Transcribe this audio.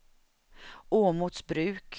Åmotsbruk